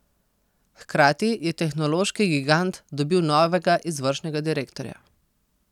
Hkrati je tehnološki gigant dobil novega izvršnega direktorja.